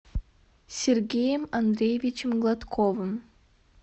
сергеем андреевичем гладковым